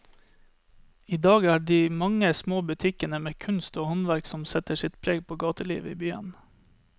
I dag er det de mange små butikkene med kunst og håndverk som setter sitt preg på gatelivet i byen.